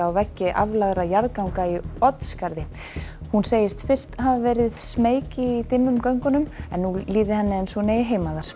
á veggi aflagðra jarðganga í Oddsskarði hún segist fyrst hafa verið smeyk í dimmum göngunum en nú líði henni eins og hún eigi heima þar